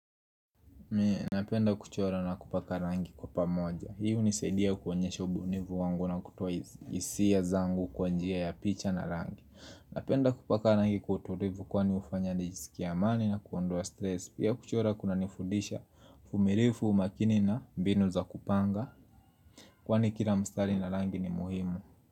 Napenda kuchora na kupaka rangi kwa pamoja. Hii hunisaidia kuonyesha ubunifu wangu na kutoa hisia zangu kwa njia ya picha na rangi. Napenda kupaka rangi kwa utulivu kwani hufanya nijisikie amani na kuondoa stress. Pia kuchora kunanifudisha uvumilivu, umakini na mbinu za kupanga Kwani kila mstari ina rangi ni muhimu.